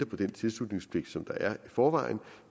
på den tilslutningspligt som der er i forvejen